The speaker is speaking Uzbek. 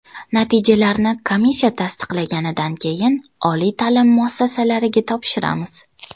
Natijalarni komissiya tasdiqlaganidan keyin oliy ta’lim muassasalariga topshiramiz.